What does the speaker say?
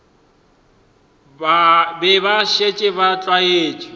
be ba šetše ba tlwaetše